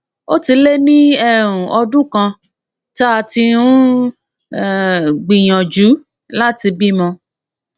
ó ti lé ní um ọdún kan tá a ti um ń um gbìyànjú láti bímọ